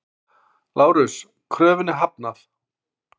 LÁRUS: Kröfunni hafnað!